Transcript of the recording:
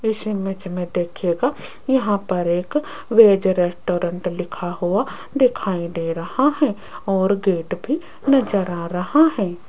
इस इमेज मे देखियेगा यहां पर एक वेज रेस्टोरेंट लिखा हुआ दिखाई दे रहा है और गेट भी नज़र आ रहा है।